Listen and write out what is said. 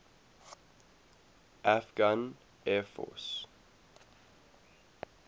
afghan air force